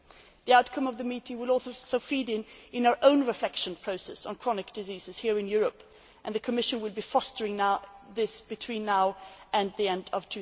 The outcome of the meeting will also feed into our own reflection process on chronic diseases here in Europe, and the Commission will be fostering this between now and the end of